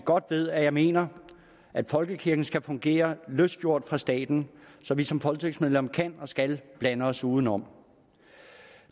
godt ved at jeg mener at folkekirken skal fungere løsgjort fra staten så vi som folketingsmedlemmer kan og skal blande os udenom